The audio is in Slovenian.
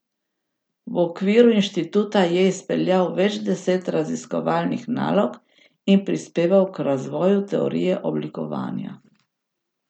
V okviru inštituta je izpeljal več deset raziskovalnih nalog in prispeval k razvoju teorije oblikovanja.